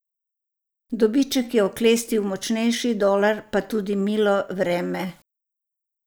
Dobiček je oklestil močnejši dolar, pa tudi milo vreme.